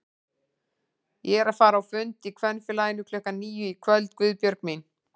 Ég er að fara á fund í Kvenfélaginu klukkan níu í kvöld Guðbjörg mín